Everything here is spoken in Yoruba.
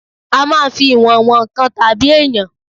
A máa ń fi ìwọ̀n wọn nǹkan tàbí èèyàn